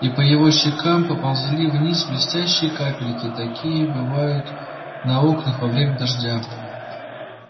и по его щекам поползли вниз блестящие капельки такие бывают на окнах во время дождя